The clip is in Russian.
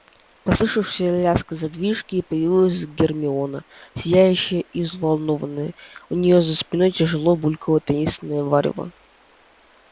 послышался лязг задвижки и появилась гермиона сияющая и взволнованная у нее за спиной тяжело булькало таинственное варево